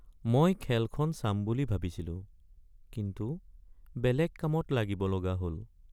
মই খেলখন চাম বুলি ভাবিছিলোঁ কিন্তু বেলেগ কামত লাগিব লগা হ'ল।